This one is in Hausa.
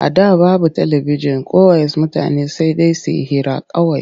A da babu talabijin ko ways mutane sai dai su yi hira kawai.